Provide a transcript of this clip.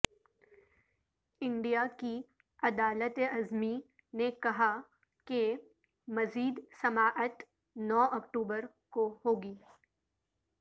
India کی عدالت عظمی نے کہا کہ مزید سماعت نو اکتوبر کو ہوگی